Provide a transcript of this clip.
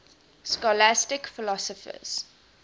scholastic philosophers